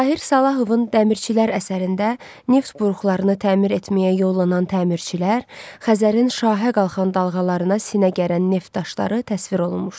Tahir Salahovun dəmirçilər əsərində neft buruqlarını təmir etməyə yollanan təmirçilər, Xəzərin şahə qalxan dalğalarına sinə gərən Neft daşları təsvir olunmuşdur.